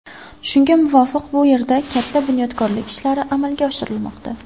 Shunga muvofiq bu yerda katta bunyodkorlik ishlari amalga oshirilmoqda.